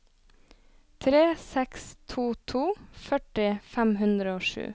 tre seks to to førti fem hundre og sju